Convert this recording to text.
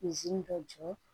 ka jɔ